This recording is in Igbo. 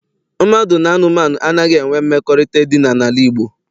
Mmadụ na anụmanụ anaghị enwe mmekọrịta edina n'ala Igbo.